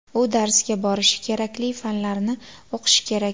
U darsga borishi, kerakli fanlarni o‘qishi kerak.